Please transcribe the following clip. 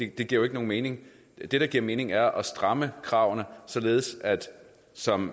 det giver jo ikke nogen mening det der giver mening er at stramme kravene således at som